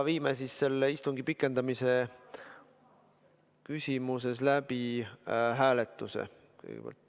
Viime istungi pikendamise küsimuses läbi hääletuse.